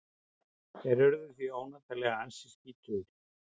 Þeir urðu því óneitanlega ansi skítugir.